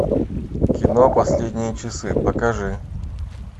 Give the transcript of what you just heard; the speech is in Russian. кино последние часы покажи